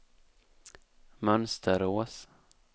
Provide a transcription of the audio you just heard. Mönsterås